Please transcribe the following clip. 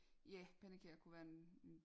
Ja pandekager kunne være en